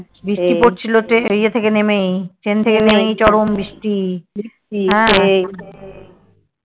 বৃষ্টি পড়ছিলো ইয়ে থেকে নেমেই ট্রেন থেকে নেমেই চরম বৃষ্টি